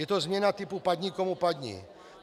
Je to změna typu padni komu padni.